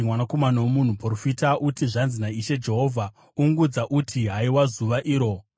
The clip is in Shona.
“Mwanakomana womunhu, profita uti, ‘Zvanzi naIshe Jehovha: “ ‘Ungudza uti, “Haiwa, zuva iro!”